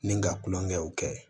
Ni ka tulonkɛw kɛ